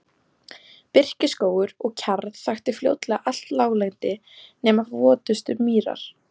Birkiskógur og kjarr þakti fljótlega allt láglendi nema votustu mýrar.